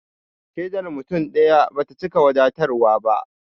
Shaidar mutum ɗaya bata cika wadatarwa ba